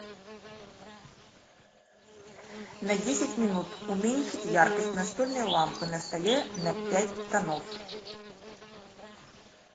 на десять минут уменьшить яркость настольной лампы на столе на пять тонов